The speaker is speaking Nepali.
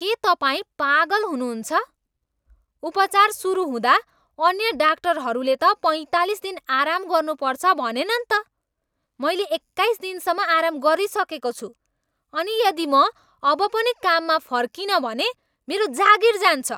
के तपाईँ पागल हुनुहुन्छ? उपचार सुरु हुँदा अन्य डाक्टरहरूले त पैँतालिस दिन आराम गर्नुपर्छ भनेनन् त! मैले एक्काइस दिनसम्म आराम गरिसकेको छु अनि यदि म अब पनि काममा फर्किनँ भने मेरो जागिर जान्छ।